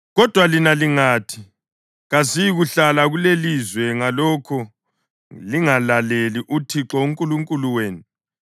Kodwa lina lingathi, ‘Kasiyikuhlala kulelizwe,’ ngalokho lingalaleli uThixo uNkulunkulu wenu,